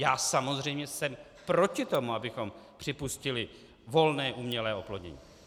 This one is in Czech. Já samozřejmě jsem proti tomu, abychom připustili volné umělé oplodnění.